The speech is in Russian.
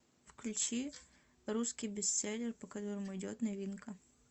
включи русский бестселлер по которому идет новинка